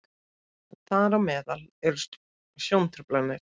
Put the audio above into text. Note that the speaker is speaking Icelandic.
þar á meðal eru sjóntruflanir